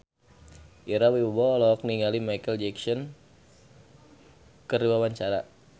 Ira Wibowo olohok ningali Micheal Jackson keur diwawancara